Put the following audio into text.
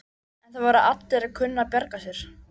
En það verða allir að kunna að bjarga sér.